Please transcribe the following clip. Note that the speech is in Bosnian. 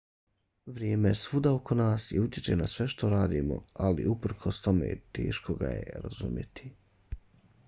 vrijeme je svuda oko nas i utječe na sve što radimo ali uprkos tome teško ga je razumjeti